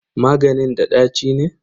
Maganin da ɗaci ne?